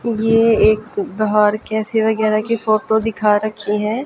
यह एक कैफे वगैरा की फोटो दिखा रखी है।